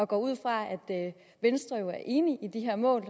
går ud fra at venstre er enig i de her mål